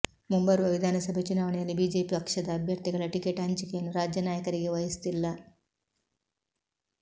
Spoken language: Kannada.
ಮುಂಬರುವ ವಿಧಾನಸಭೆ ಚುನಾವಣೆಯಲ್ಲಿ ಬಿಜೆಪಿ ಪಕ್ಷದ ಅಭ್ಯರ್ಥಿಗಳ ಟಿಕೆಟ್ ಹಂಚಿಕೆಯನ್ನು ರಾಜ್ಯನಾಯಕರಿಗೆ ವಹಿಸುತ್ತಿಲ್ಲ